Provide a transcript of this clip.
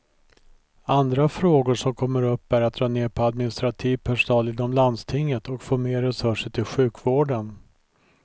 Andra frågor som kommer upp är att dra ner på administrativ personal inom landstinget och få mer resurser till sjukvården.